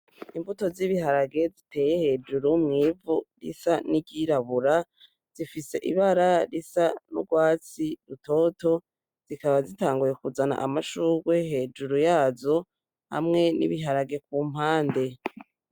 Imbuto z'ibiharage ziteye hejuru mw'ivu isa n'iryirabura zifise ibara risa nk'urwatsi rutoto zikaba zitanguye kuzana amashugwe hejuru yazo hamwe n'ibiharage ku mpande.